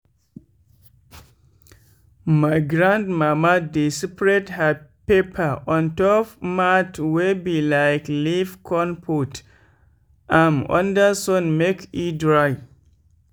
my grandmama dey spread her pepper ontop mat wey be like leaf con put am under sun make e dry.